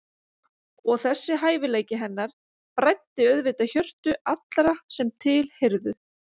Og þessi hæfileiki hennar bræddi auðvitað hjörtu allra sem til heyrðu.